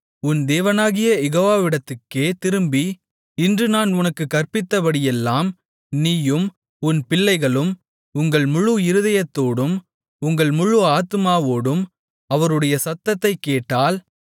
உன் தேவனாகிய யெகோவாவிடத்துக்கே திரும்பி இன்று நான் உனக்குக் கற்பிக்கிறபடியெல்லாம் நீயும் உன் பிள்ளைகளும் உங்கள் முழு இருதயத்தோடும் உங்கள் முழு ஆத்துமாவோடும் அவருடைய சத்தத்தை கேட்டால்